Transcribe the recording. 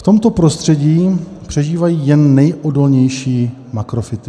V tomto prostředí přežívají jen nejodolnější makrofyty.